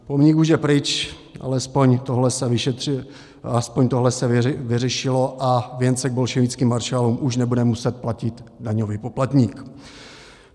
Pomník už je pryč, alespoň tohle se vyřešilo a věnce k bolševickým maršálům už nebude muset platit daňový poplatník.